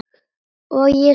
og ég spyr: hví ekki?